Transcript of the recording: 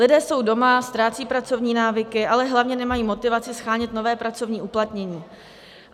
Lidé jsou doma, ztrácejí pracovní návyky, ale hlavně nemají motivaci shánět nové pracovní uplatnění.